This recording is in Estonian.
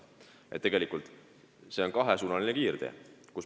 Tegelikult on see kahesuunaline kiirtee.